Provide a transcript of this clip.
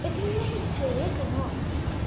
это не нависшее веко но